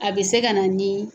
A bɛ se ka na ni